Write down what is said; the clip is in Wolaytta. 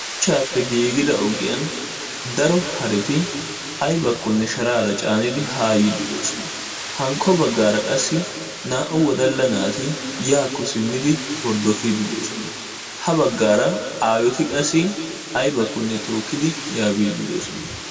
suchchappe gigida ogiyani daro haretti caanara haakko simidi yiidi doosona hankko bagara yelaga naati hordofidi yaakko biidi doosona.